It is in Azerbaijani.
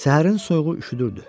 Səhərin soyuğu üşüdürdü.